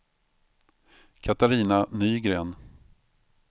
Katarina Nygren